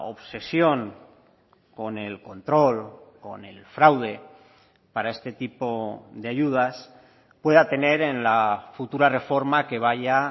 obsesión con el control con el fraude para este tipo de ayudas pueda tener en la futura reforma que vaya